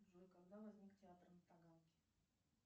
джой когда возник театр на таганке